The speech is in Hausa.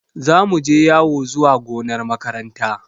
Za mu je yawo zuwa gonar makaranta.